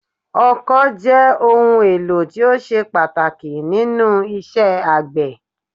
Ọkọ́ jẹ́ ohun èlò tó ṣe pàtàkì nínú isẹ́ àgbẹ̀